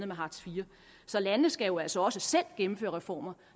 med hartz iv så landene skal jo altså også selv gennemføre reformer